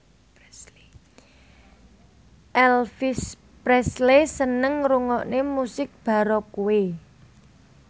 Elvis Presley seneng ngrungokne musik baroque